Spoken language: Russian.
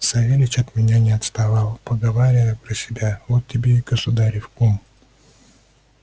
савельич от меня не отставал поговаривая про себя вот тебе и государев кум